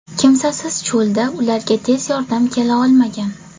Kimsasiz cho‘lda ularga tez yordam kela olmagan.